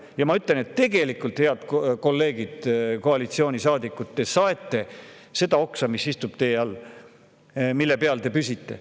Ja ma ütlen, et tegelikult, head kolleegid koalitsioonisaadikud, te saete seda oksa, mille peal te püsite.